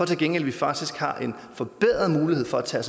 til gengæld faktisk har en forbedret mulighed for at tage